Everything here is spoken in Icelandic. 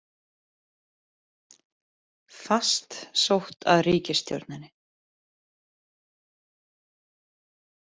Fast sótt að ríkisstjórninni